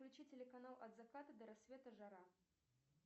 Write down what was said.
включи телеканал от заката до рассвета жара